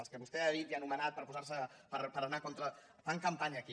els que vostè ha dit i ha anomenat per oposarse per anar contra fan campanya aquí